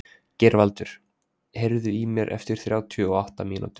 Geirvaldur, heyrðu í mér eftir þrjátíu og átta mínútur.